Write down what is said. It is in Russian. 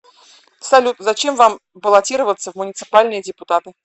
салют зачем вам баллотироваться в муниципальные депутаты